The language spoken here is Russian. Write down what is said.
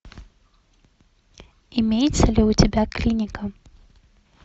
имеется ли у тебя клиника